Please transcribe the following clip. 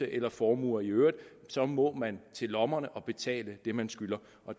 eller formuer i øvrigt så må man til lommerne og betale det man skylder